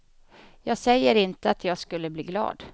Jag säger inte att jag skulle bli glad.